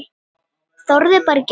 Þorði bara ekki.